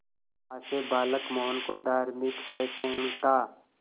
मां से बालक मोहन को धार्मिक सहिष्णुता